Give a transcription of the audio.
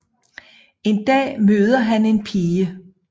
En dag møder han en pige